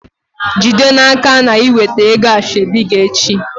Jide n'aka na i weta ego asheobi gi echi!